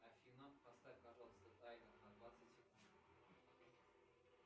афина поставь пожалуйста таймер на двадцать секунд